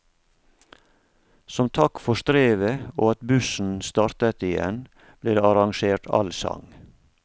Som takk for strevet, og at bussen startet igjen, ble det arrangert allsang.